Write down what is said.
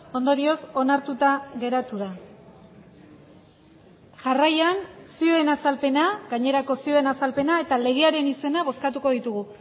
ondorioz onartuta geratu da jarraian zioen azalpena gainerako zioen azalpena eta legearen izena bozkatuko ditugu